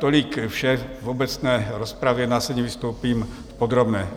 Tolik vše v obecné rozpravě, následně vystoupím v podrobné.